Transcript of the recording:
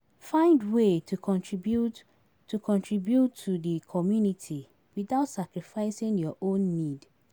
Find way to contribute to di community without sacrificing your own nned.